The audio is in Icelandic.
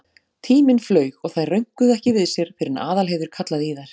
Tíminn flaug og þær rönkuðu ekki við sér fyrr en Aðalheiður kallaði í þær.